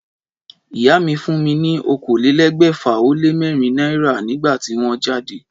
Ìyá mi fún mi ni okòólégbèfà-o-lé-mérin náírà nígbà tí wón jáde